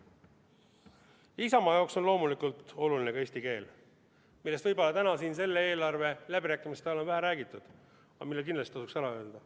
Isamaa jaoks on loomulikult oluline ka eesti keel, millest võib-olla selle eelarve läbirääkimiste ajal on vähe räägitud, aga mida kindlasti tasuks ära öelda.